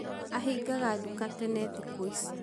Ahingaga duka tene thĩkũ ici.